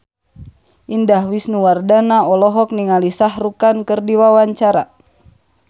Indah Wisnuwardana olohok ningali Shah Rukh Khan keur diwawancara